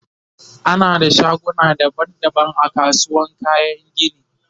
ana da shaguna daban daban a kasuwar kayan gini